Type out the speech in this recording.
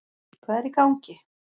Hvað er í gangi?